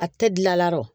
A tɛ gilan la ɔrɔ